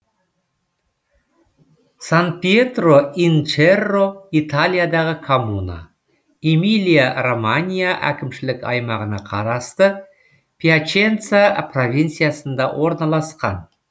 сан пьетро ин черро италиядағы коммуна эмилия романья әкімшілік аймағына қарасты пьяченца провинциясында орналасқан